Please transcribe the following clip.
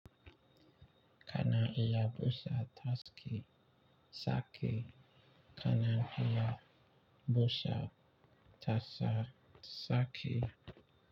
Kana iya busa taski sake, kana iya busa tasa sake.